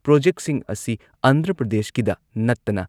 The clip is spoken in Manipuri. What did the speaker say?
ꯄ꯭ꯔꯣꯖꯦꯛꯁꯤꯡ ꯑꯁꯤ ꯑꯟꯙ꯭ꯔ ꯄ꯭ꯔꯗꯦꯁꯀꯤꯗ ꯅꯠꯇꯅ